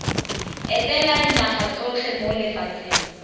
etela dinaga tsotlhe mo lefatsheng